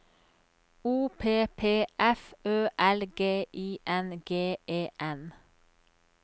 O P P F Ø L G I N G E N